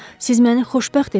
Siz məni xoşbəxt etdiniz.